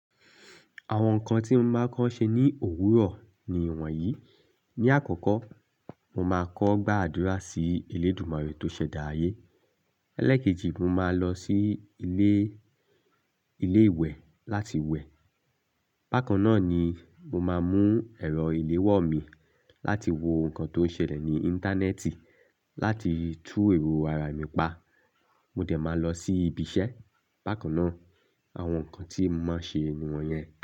Àwọn nǹkan tí mo máa kọ́ ṣe ní òwúrọ̀ ni ìwọ̀n yìí. Ni àkọ́kọ́, mo máa kọ́ gbàdúrà sí Elédùmarè tó ṣẹ̀dá ayé. Élékèjì, mo máa lọ sí ilé, ilé ìwẹ̀ láti wẹ̀. Bákan náà ni mo máa mú ẹ̀rọ ìléwọ́ mi láti wo nǹkan tó ń ṣẹlẹ̀ ní Íńtánẹ́ẹ̀tì láti tú èrò ara mi pa. Mo dẹ̀ máa lọ sí ibi iṣẹ́. Bákan náà, àwọn nǹkan tí mo máa ṣe ni wọ́n yẹn.